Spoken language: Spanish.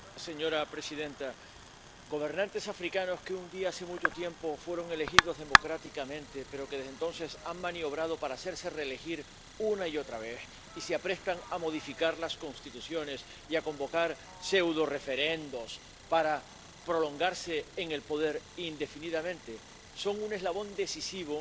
Señora presidenta, gobernantes africanos que un día, hace mucho tiempo, fueron elegidos democráticamente, pero que desde entonces han maniobrado para hacerse reelegir una y otra vez, y se aprestan a modificar las constituciones y a convocar pseudoreferendos para prolongarse en el poder indefinidamente, son un eslabón decisivo